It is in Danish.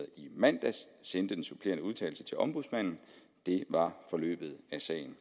i mandags sendte den supplerende udtalelse til ombudsmanden det var forløbet af sagen